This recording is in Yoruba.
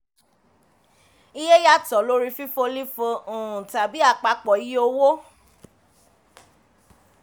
iye yàtọ̀ lórí fifo lifo um tàbí àpapọ iye owó